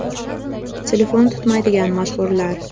Telefon tutmaydigan mashhurlar.